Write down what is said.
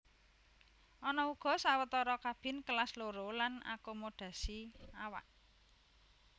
Ana uga sawetara kabin Kelas Loro lan akomodasi awak